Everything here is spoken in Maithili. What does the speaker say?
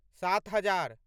सात हजार